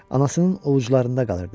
Anasının ovucularında qalırdı.